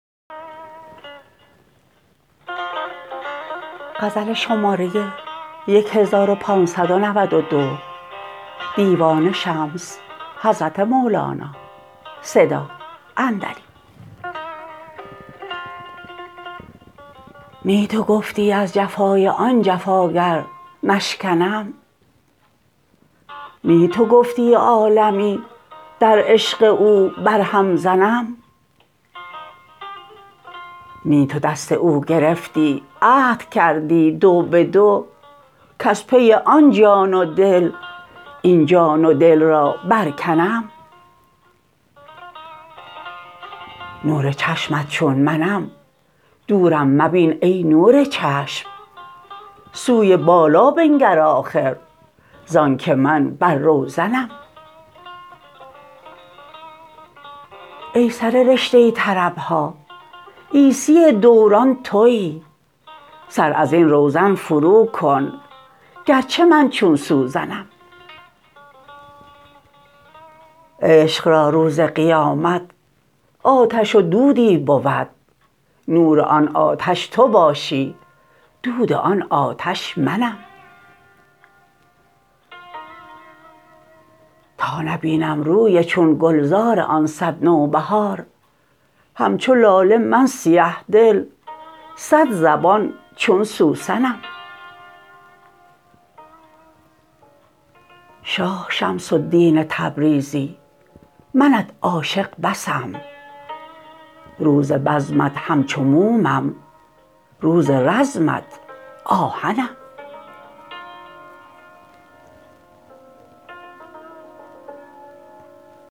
نی تو گفتی از جفای آن جفاگر نشکنم نی تو گفتی عالمی در عشق او برهم زنم نی تو دست او گرفتی عهد کردی دو به دو کز پی آن جان و دل این جان و دل را برکنم نور چشمت چون منم دورم مبین ای نور چشم سوی بالا بنگر آخر زانک من بر روزنم ای سر رشته طرب ها عیسی دوران توی سر از این روزن فروکن گرچه من چون سوزنم عشق را روز قیامت آتش و دودی بود نور آن آتش تو باشی دود آن آتش منم تا نبینم روی چون گلزار آن صد نوبهار همچو لاله من سیه دل صدزبان چون سوسنم شاه شمس الدین تبریزی منت عاشق بسم روز بزمت همچو مومم روز رزمت آهنم